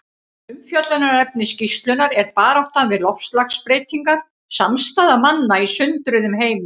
Umfjöllunarefni skýrslunnar er Baráttan við loftslagsbreytingar: Samstaða manna í sundruðum heimi.